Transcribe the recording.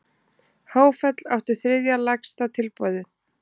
Háfell átti þriðja lægsta tilboðið